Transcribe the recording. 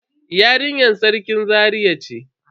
Yarinyar Sarkin Zaria ce.